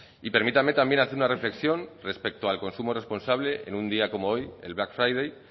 y permítame también hacer una reflexión respecto al consumo responsable en un día como hoy el black friday